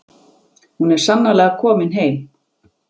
Hún er sannarlega komin heim.